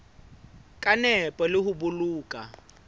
ka nepo le ho boloka